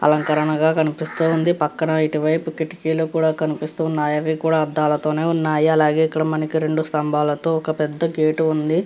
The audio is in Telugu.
అలంకరణగా కన్పిస్తు ఉంది పక్కన ఇటు పక్కన కిటికీలు కూడా కనిపిస్తున్నాయి అవి కూడా అద్దాలతోనే ఉన్నాయి అది కూడా ఇటు పక్కన ఒక పెద్ద గేట్ కూడా ఉంది.